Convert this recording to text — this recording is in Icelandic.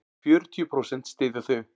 Fjörutíu prósent styðja þau.